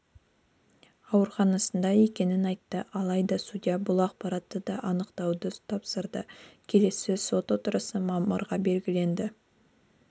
ауруханасында екенін айтты алайда судья бұл ақпаратты да анықтауды тапсырды келесі сот отырысы мамырға белгіленді